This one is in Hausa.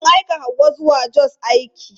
Sun aika Hauwa zuwa Jos aiki.